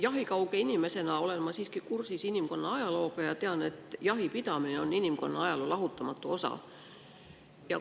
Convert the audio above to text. Jahikauge inimesena olen ma siiski kursis inimkonna ajalooga ja tean, et jahipidamine on inimkonna ajaloo lahutamatu osa.